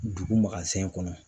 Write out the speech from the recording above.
Dugu kɔnɔ